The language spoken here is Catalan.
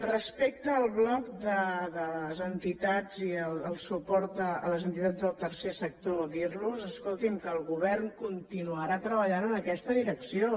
respecte al bloc de les entitats i el suport a les entitats del tercer sector dir los escolti’m que el govern continuarà treballant en aquesta direcció